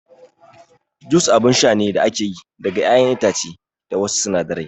Jus abun sha ne da ake yi daga ƴaƴan itace da wasu sinadarai